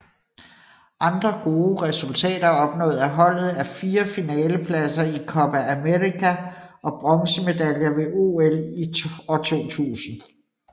Andre gode resultater opnået af holdet er fire finalepladser i Copa América og bronzemedaljer ved OL i 2000